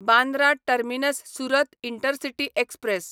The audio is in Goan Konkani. Bandra terminus Surat intercity express